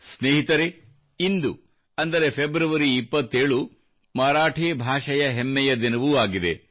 ಸ್ನೇಹಿತರೇ ಇಂದು ಅಂದರೆ ಫೆಬ್ರವರಿ 27 ಮರಾಠಿ ಭಾಷೆಯ ಹೆಮ್ಮೆಯ ದಿನವೂ ಆಗಿದೆ